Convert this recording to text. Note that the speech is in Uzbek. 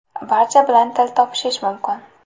Barcha bilan til topishish mumkin.